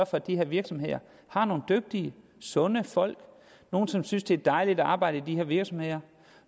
for at de her virksomheder har nogle dygtige sunde folk nogle som synes at det er dejligt arbejde i de her virksomheder